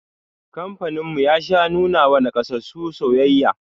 Kamfanin mu ya sha nuna wa nakasassu soyayya